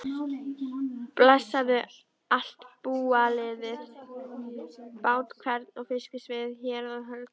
Blessaðu allt búalið, bát hvern og fiskisvið, hérað og höld.